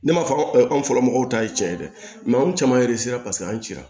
Ne m'a fɔ an fɔlɔ mɔgɔw ta ye tiɲɛ ye dɛ mɛ an caman paseke an cira